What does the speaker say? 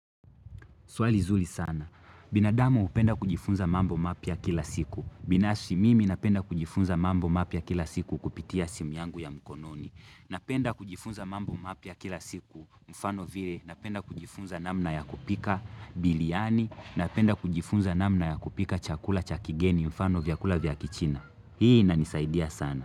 Swali zuri sana. Binadamu hupenda kujifunza mambo mapya kila siku. Binafsi mimi napenda kujifunza mambo mapya kila siku kupitia simu yangu ya mkononi. Napenda kujifunza mambo mapia kila siku. Mfano vile napenda kujifunza namna ya kupika biriani. Napenda kujifunza namna ya kupika chakula cha kigeni mfano vyakula vya kichina. Hii inanisaidia sana.